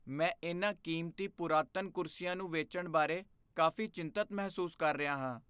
ਮੈਂ ਇਨ੍ਹਾਂ ਕੀਮਤੀ ਪੁਰਾਤਨ ਕੁਰਸੀਆਂ ਨੂੰ ਵੇਚਣ ਬਾਰੇ ਕਾਫ਼ੀ ਚਿੰਤਤ ਮਹਿਸੂਸ ਕਰ ਰਿਹਾ ਹਾਂ।